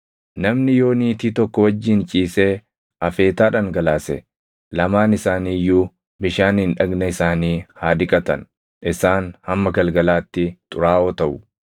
Namni yoo niitii tokko wajjin ciisee afeetaa dhangalaase, lamaan isaanii iyyuu bishaaniin dhagna isaanii haa dhiqatan; isaan hamma galgalaatti xuraaʼoo taʼu.